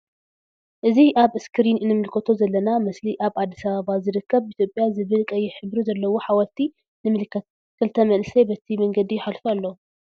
እዚ ኣብ እስክሪን እንምልከቶ ዘለና ምስሊ ኣብ ኣዲስ ኣበባ ዝርከብ ኢትዮጵያ ዝበል ቀይሕ ሕብሪ ዘለዎ ሓወልቲ ንምልከት ክልተ መንኣሰይ በቲ መንገዲ ይሓልፉ ኣለዉ።